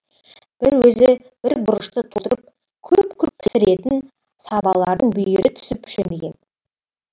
бір өзі бір бұрышты толтырып күрп күрп пісілетін сабалардың бүйірі түсіп шөмиген